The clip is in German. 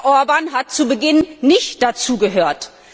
Herr Orbán hat zu Beginn nicht dazu gehört.